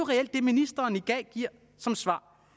reelt det ministeren i dag giver som svar